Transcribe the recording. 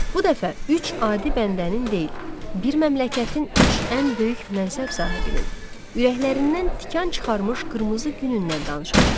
Bu dəfə üç adi bəndənin deyil, bir məmləkətin üç ən böyük mənsəb sahibinin, ürəklərindən tikan çıxarmış qırmızı günündən danışacağıq.